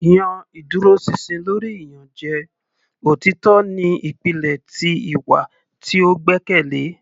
yan iduroṣinṣin lori iyanjẹ; Otitọ ni ipilẹ ti iwa ti o gbẹkẹle.